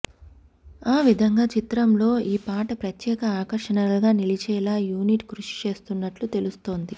ఆ విధంగా చిత్రం లో ఈ పాట ప్రత్యేక ఆకర్షణగా నిలిచేలా యూనిట్ కృషి చేస్తున్నట్లు తెలుస్తోంది